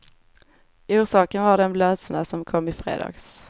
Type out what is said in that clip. Orsaken var den blötsnö som kom i fredags.